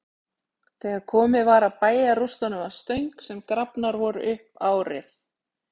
Þegar komið var að bæjarrústunum að Stöng, sem grafnar voru upp árið